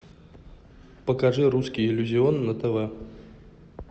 покажи русский иллюзион на тв